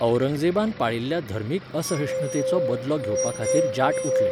औरंगजेबान पाळिल्ल्या धर्मीक असहिष्णुतेचो बदलो घेवपाखातीर जाट उठले.